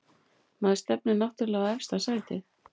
Maður stefnir náttúrlega á efsta sætið